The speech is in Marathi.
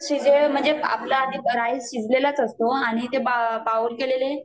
शिजेल म्हणजे आपला आधी राइस शिजलेला च असतो आणि ते बाउल केलेले